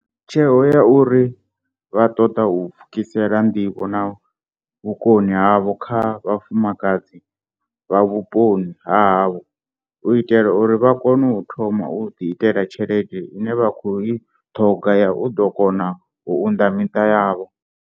tsheo ya uri vha ṱoḓa u pfukisela nḓivho na vhukoni havho kha vhafumakadzi vha vhuponi ha havho, u itela uri vha ḓo kona u thoma u ḓiitela tshelede ine vha khou i ṱhoga ya u ḓo kona u unḓa miṱa yavho.